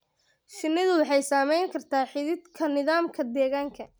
Shinnidu waxay saamayn kartaa xidhiidhka nidaamka deegaanka.